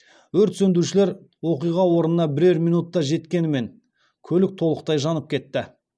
өрт сөндірушілер оқиға орнына бірер минутта жеткенімен көлік толықтай жанып кетті